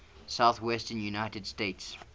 southwestern united states